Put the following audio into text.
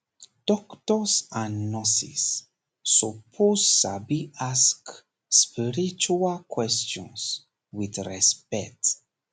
doctors and nurses suppose sabi ask spiritual questions with respect